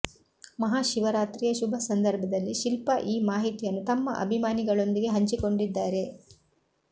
ಮಹಾಶಿವರಾತ್ರಿಯ ಶುಭ ಸಂದರ್ಭದಲ್ಲಿ ಶಿಲ್ಪಾ ಈ ಮಾಹಿತಿಯನ್ನು ತಮ್ಮ ಅಭಿಮಾನಿಗಳೊಂದಿಗೆ ಹಂಚಿಕೊಂಡಿದ್ದಾರೆ